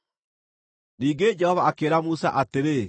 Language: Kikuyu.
Ningĩ Jehova akĩĩra Musa atĩrĩ: